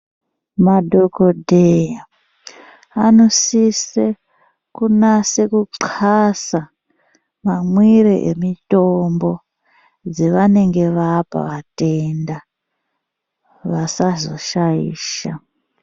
Madhogodheya anosise kunase kuxasa mamwire emutombo dzavanenge vapa vatenda vasazoshaisha.